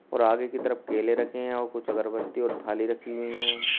और आगे की तरफ केले रखे हैं और कुछ अगरबत्ती और थाली रखी हुई है।